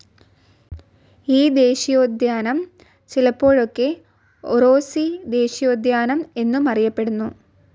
ഈ ദേശീയോദ്യാനം ചിലപ്പോഴൊക്ക ഒറോസി ദേശീയോദ്യാനം എന്നും അറിയപ്പെടുന്നു.